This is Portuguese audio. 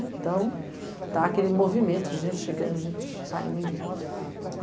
Então, estava aquele movimento de gente chegando, gente saindo.